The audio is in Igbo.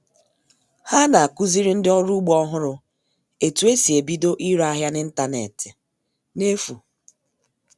Há nà à-kụziri ndị ọrụ ugbo ọhụrụ etú e si ebido ire áhịá n'ịntañánétị n'efù